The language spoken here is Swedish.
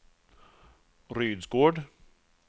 Rydsgård